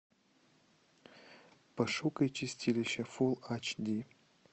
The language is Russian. пошукай чистилище фул ач ди